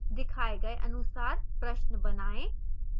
दिखाए गए अनुसार प्रश्न बनाएं